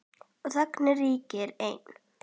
Og þögnin ríkir ein.